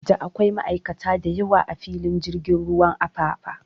Da akwai ma'aikata da yawa a filin jirgin ruwan Apapa